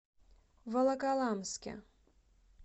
волоколамске